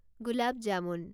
gulab jamun